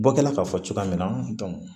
Bɔ kɛla k'a fɔ cogoya min na